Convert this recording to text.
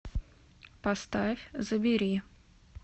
поставь забери